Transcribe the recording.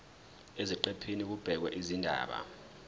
eziqephini kubhekwe izindaba